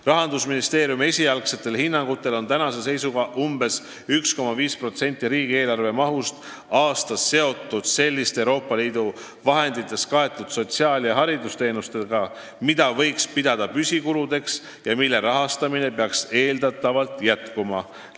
Rahandusministeeriumi esialgsetel hinnangutel on umbes 1,5% riigieelarve mahust aastas seotud selliste Euroopa Liidu vahendite abil kaetud sotsiaal- ja haridusteenustega, mida võiks pidada püsikuludeks ja mille rahastamine peaks eeldatavalt jätkuma.